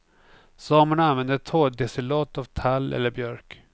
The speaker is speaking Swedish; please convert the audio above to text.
Samerna använde torrdestillat av tall eller björk.